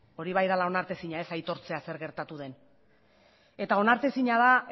hori bai dela onartezina ez aitortzea zer gertatu den eta onartezina